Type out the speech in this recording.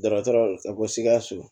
Dɔgɔtɔrɔ ka ko sikaso